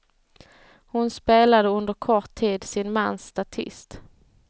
Hon spelade under kort tid sin mans statist.